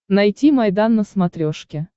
найти майдан на смотрешке